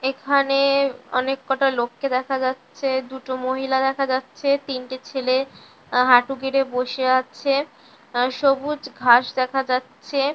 এখানে অনেক কটা লোককে দেখা যাচ্ছে দুটো মহিলা দেখা যাচ্ছে তিনটি ছেলে এ হাঁটু গেড়ে বসে আছে আ সবুজ ঘাস দেখা যাচ্ছে ।